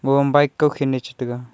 kom bike kukhin chi taiga.